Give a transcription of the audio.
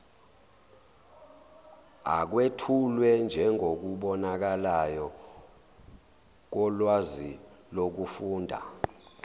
akwethulwe njengokubonakalayo kolwazilokufunda